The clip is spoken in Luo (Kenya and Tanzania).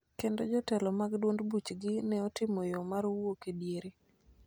kendo jotelo mag duond buchgi ne otimo yo mar wuok e diere.